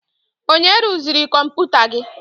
Onye rụziri kọmputa gị?